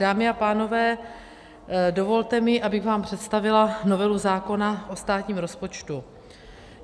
Dámy a pánové, dovolte mi, abych vám představila novelu zákona o státním rozpočtu.